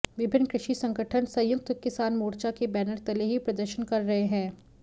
विभिन्न कृषि संगठन संयुक्त किसान मोर्चा के बैनर तले ही प्रदर्शन कर रहे हैं